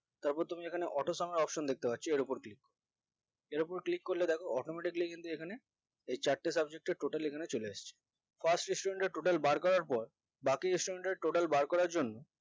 তারপর তুমি এখানে auto sum এর option দেখতে পাচ্ছি এর ওপর click এর ওপর click করলে দ্যাখো automatically কিন্তু এখানে এই চারটি subject এর total এখানে চলে এসেছে first student এ total বার করার পর বাকি student এর total বার করার জন্য